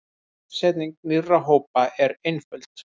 Uppsetning nýrra hópa er einföld.